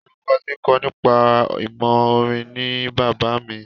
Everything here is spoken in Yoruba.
Olùkọ tí ń kọ́ nípa ìmọ̀ orin ni bàbá mi.